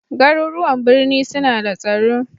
Garuruwan birni suna da tsaro